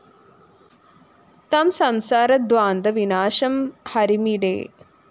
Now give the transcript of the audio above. തം സംസാരധ്വാന്ത വിനാശം ഹരിമീഡേ